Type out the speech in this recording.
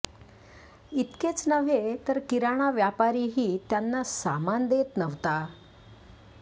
इतकेच नव्हे तर किराणा व्यापारीही त्यांना सामान देत नव्हता